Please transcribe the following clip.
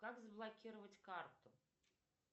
как заблокировать карту